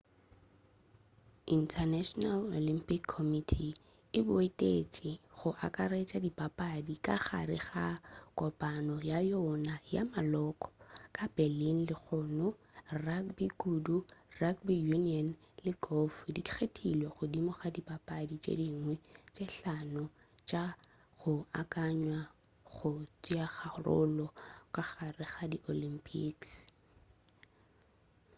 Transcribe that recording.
international olympic committee e boutetše go akaretša dipapadi ka gare ga kopano ya yona ya maloko ka berlin lehono rugby kudu rugby union le golf di kgethilwe godimo ga dipapadi tše dingwe tše hlano tša go akanywa go tšeakarolo ka gare ga di olympics